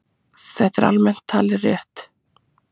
Þetta er almennt talið rétt.